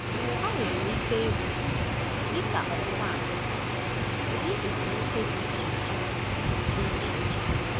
Ha nwere ike ịbụ, dịka ọmụmaatụ, ụdị ezumike dị iche iche. dị iche iche.